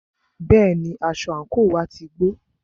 Bẹ́ẹ̀ni, aṣọ àńkò wá ti gbó.